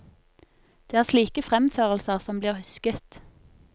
Det er slike fremførelser som blir husket.